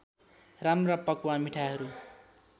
राम्रा पकवान मिठाईहरू